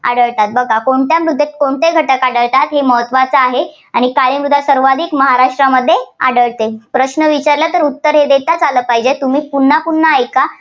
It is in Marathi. आढळतात. बघा कोणत्या मृदेत कोणते घटक आढळतात हे महत्त्वाचे आहे. आणि काळी मृदा सर्वाधिक महाराष्ट्रामध्ये आढळते. प्रश्न विचारला तर उत्तर देताच आलं पाहिजे, तुम्ही पुन्हा पुन्हा ऐका.